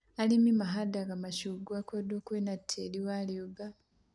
Arĩmi mahandaga macungwa kũndũ kwĩna tĩĩrĩ wa rĩũmba